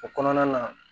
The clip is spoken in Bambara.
O kɔnɔna na